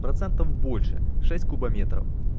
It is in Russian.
процентов больше шесть кубометров